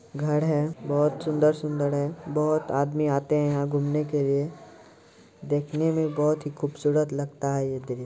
घर है बहोत सुंदर-सुंदर है बहोत आदमी आते हैं यहां घूमने के लिए देखने में बहोत ही खूबसूरत लगता है ये दृश्--